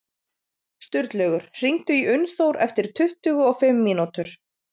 Sturlaugur, hringdu í Unnþór eftir tuttugu og fimm mínútur.